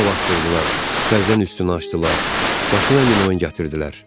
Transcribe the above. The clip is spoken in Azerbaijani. Quma basdırdılar, təzdən üstünü açdılar, başına min oyun gətirdilər.